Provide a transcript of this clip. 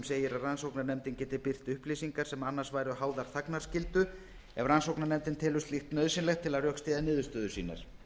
segir að rannsóknarnefndin geti birt upplýsingar sem annars væru háðar þagnarskyldu ef rannsóknarnefndin telur slíkt nauðsynlegt til að rökstyðja niðurstöður sínar